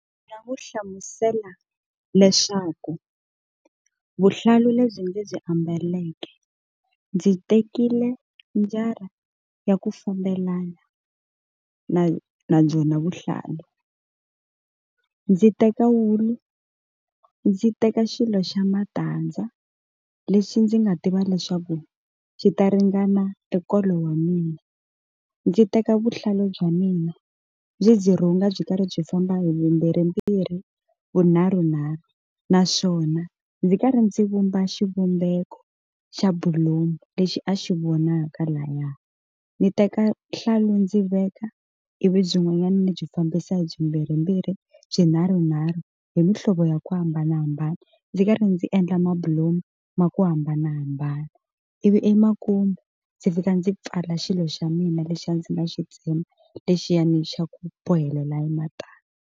Ndzi nga n'wi hlamusela leswaku vuhlalu lebyi ndzi byi ambaleke ndzi tekile njara ya ku fambelana na na byona vuhlalu, ndzi teka wulu ndzi teka xilo xa matandza lexi ndzi nga tiva leswaku xi ta ringana enkolo wa mina, ndzi teka vuhlalu bya mina byi ndzi rhunga byi karhi byi famba hi mimbirhi mbirhi vunharhu nharhu naswona ndzi karhi ndzi vumba xivumbeko xa bilomu lexi a xi vonaka laya, ndzi teka vuhlalu ndzi veka ivi byin'wanyana ni byi fambisa hi byi mbirhi mbirhi byi nharhu nharhu hi muhlovo ya ku hambanahambana ndzi karhi ndzi endla mabulomu ma ku hambanahambana ivi emakumu ndzi fika ndzi pfala xilo xa mina lexi a ndzi nga xi tsema lexiyani xa ku bohelela ematandza.